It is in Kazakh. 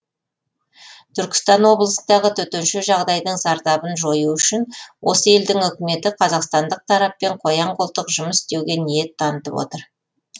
түркістан облысындағы төтенше жағдайдың зардабын жою үшін осы елдің үкіметі қазақстандық тараппен қоян қолтық жұмыс істеуге ниет танытып отыр